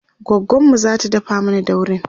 goggonmu zata dafa mana daurin